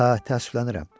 Hə, təəssüflənirəm.